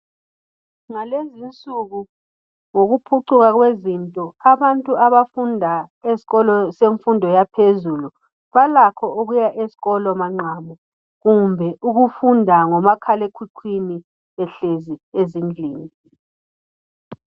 Ngalezinsuku ngokuphucuka kwezinto abantu abafunda eskolo semfundo yaphezulu balakho ukuya eskolo manqavu kumbe ukufunda ngomakhalekhukhwini behlezi ezindlini